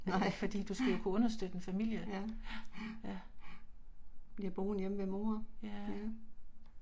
Nej, ja, ja, ja. Bliver boende hjemme ved mor, mh